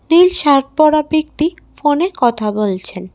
নীল shirt পরা ব্যক্তি ফোনে কথা বলছেন।